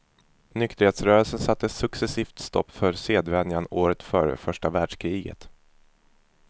Nykterhetsrörelsen satte successivt stopp för sedvänjan åren före första världskriget.